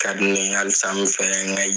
Ka di n ye halisa n bɛ fɛ n ka ye